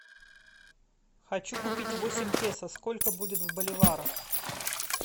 хочу купить восемь песо сколько будет в боливарах